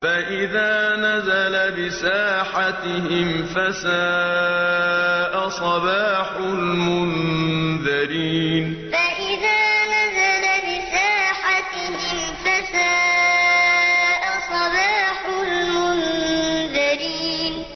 فَإِذَا نَزَلَ بِسَاحَتِهِمْ فَسَاءَ صَبَاحُ الْمُنذَرِينَ فَإِذَا نَزَلَ بِسَاحَتِهِمْ فَسَاءَ صَبَاحُ الْمُنذَرِينَ